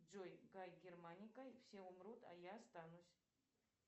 джой кай германика все умрут а я останусь